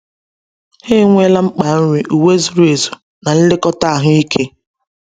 Ha enweela mkpa nri, uwe zuru ezu, na nlekọta ahụike.